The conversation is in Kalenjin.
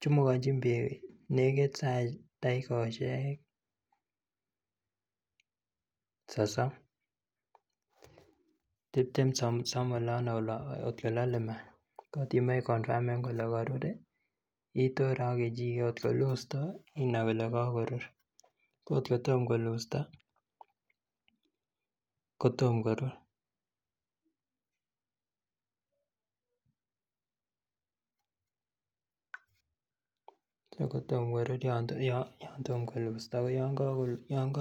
chumukonjin beek takikosiek sosom anan kotiptem. Kotimoe iker kotkokorur ii, itore ak kechiket, kotko lustoi inai kole kakorur ko kotko tom kolustoi kotom korur.